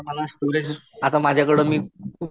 आता माझ्याकडं मी खूप